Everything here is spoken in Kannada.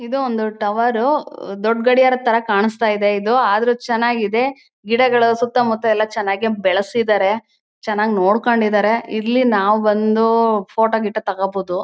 ಇದು ಒಂದು ಟವರು ಹ್ಮ್ಮ್ ದೊಡ್ ಗಡಿಯಾರ ಥರ ಕಾಣುಸ್ತ ಇದೆ. ಇದು ಆದ್ರೂ ಚನ್ನಾಗ್ ಇದೆ ಗಿಡ ಮರಗಳ್ ಎಲ್ಲ ಸುತ್ತ ಮುತ್ತ ಎಲ್ಲ ಚನ್ನಾಗ್ ಬೆಳ್ಸಿದಾರೆ ಚನಾಗ್ ನೋಡ್ಕೊಂಡ್ ಇದ್ದಾರೆ .ಇಲ್ಲಿ ನಾವ್ ಬಂದು ಫೋಟೋ ಗಿಟೊ ತಗೋಬೋದು.